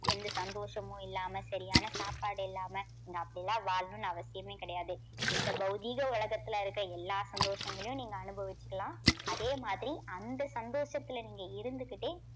எந்த சந்தோஷமும் இல்லாம சரியான சாப்பாடு இல்லாம நீங்க அப்படி எல்லாம் வாழணும்னு அவசியமே கிடையாது. இந்த பௌதீக உலகத்துல இருக்க எல்லா சந்தோஷங்களையும் நீங்க அனுபவிச்சுக்கலாம். அதே மாதிரி அந்த சந்தோஷத்துல நீங்க இருந்துகிட்டே